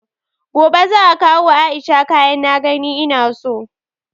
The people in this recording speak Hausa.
Gobe za'a kawo wa Aisha kayan na gani ina so